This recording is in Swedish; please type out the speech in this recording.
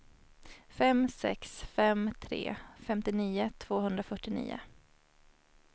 fem sex fem tre femtionio tvåhundrafyrtionio